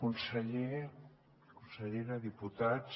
conseller consellera diputats